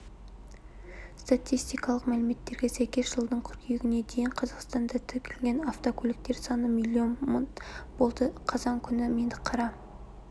статистикалық мәліметтерге сәйкес жылдың қыркүйегіне дейін қазақстанда тіркелген автокөліктер саны миллион мың болды қазан күні меңдіқара